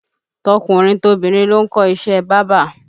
Tọkùnrin tobìnrin ló ń kọ́ iṣẹ́ bábà